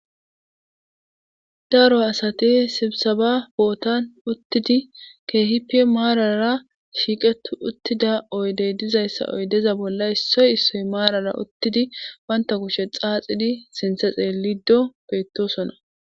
Daro asati sibsiba bootan uttid keehippe maarara shiiqeti uttida oydde dizayssa oydeza bolla issoy issoy marara uttidi banta kushe xaaxidi sinththe xeelido beetosona.